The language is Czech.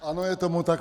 Ano, je tomu tak.